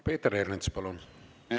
Peeter Ernits, palun!